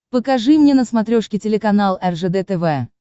покажи мне на смотрешке телеканал ржд тв